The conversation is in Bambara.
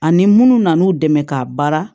Ani munnu nan'u dɛmɛ k'a baara